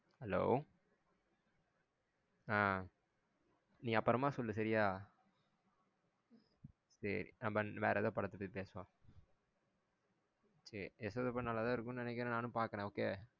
Hello ஆஹ் நீ அப்பறமா சொல்லு சரியா சேரி நம்ம வேற எதாவது படத்த பாத்தி பேசலாம் சேரி யசோதா படம் நல்லாதான் இருக்கும்னு நெனைக்கிறன் நானும் பாக்குறேன் okay